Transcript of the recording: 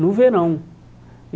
No verão.